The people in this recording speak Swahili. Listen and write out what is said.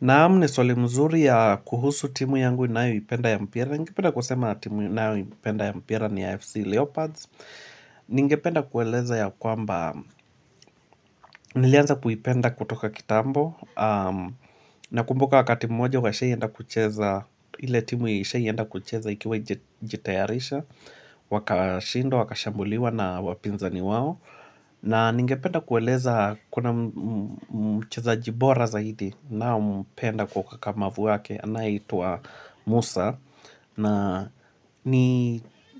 Naam ni swali mzuri ya kuhusu timu yangu inayu ipenda ya mpira. Ngependa kusema timu inayo ipenda ya mpira ni AFC Leopards. Ningependa kueleza ya kwamba nilianza kuipenda kutoka kitambo. Na kumbuka wakati moja washawahi enda kucheza ili timu ishawahi enda kucheza ikiwa haijitayarisha. Wakashindw, wakashambuliwa na wapinza ni wao. Na ningependa kueleza kuna mchezaji bora zaidi naompenda kwa ukukakamavu wake. Na hituwa Musa na